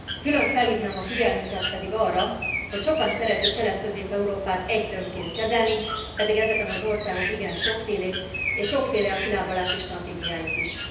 Külön felhívnám a figyelmüket arra, hogy sokan szeretik Kelet Közép Európát egy tömbként kezelni, pedig ezek az országok igen sokfélék és sokféle a kilábalási stratégiájuk is.